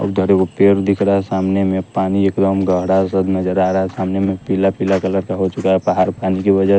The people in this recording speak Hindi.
उधरे को पेड़ दिख रहा है सामने में पानी एकदम गहड़ा सद नजर आ रहा है सामने में पीला पीला कलर का हो चुका है पहारपन की वजह --